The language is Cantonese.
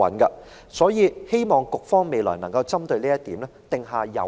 我希望局方未來能夠就此制訂有效的行政措施。